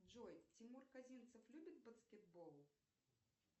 джой тимур казинцев любит баскетбол